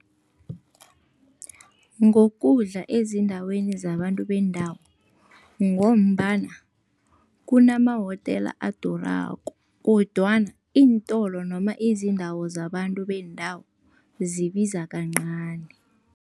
Ngokudla ezindaweni zabantu bendawo, ngombana kunamahotela adurako kodwana iintolo noma izindawo zabantu bendawo zibiza kancani.